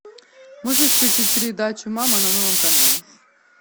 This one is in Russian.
можешь включить передачу мама на новом канале